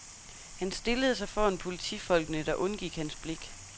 Han stillede sig foran politifolkene, der undgik hans blik.